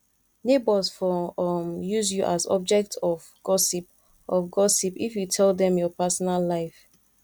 neighbors for um use you as object of gossip of gossip if you tell dem your personal life